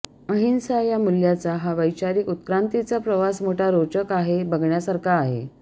अहिंसा या मुल्याचा हा वैचारीक उत्क्रांतीचा प्रवास मोठा रोचक आहे बघण्यासारखा आहे